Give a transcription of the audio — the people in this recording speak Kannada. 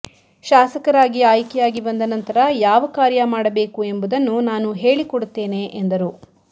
ಶಾಸಕರಾಗಿ ಆಯ್ಕೆಯಾಗಿ ಬಂದ ನಂತರ ಯಾವ ಕಾರ್ಯ ಮಾಡಬೇಕು ಎಂಬುದನ್ನು ನಾನು ಹೇಳಿಕೊಡುತ್ತೇನೆ ಎಂದರು